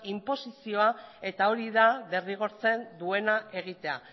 inposizioa eta hori da derrigortzen duena egitea